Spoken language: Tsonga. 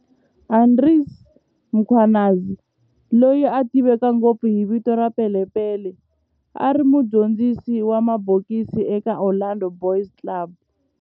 Andries Mkhwanazi, loyi a tiveka ngopfu hi vito ra"Pele Pele", a ri mudyondzisi wa mabokisi eka Orlando Boys Club